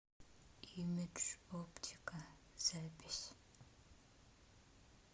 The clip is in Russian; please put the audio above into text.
имидж оптика запись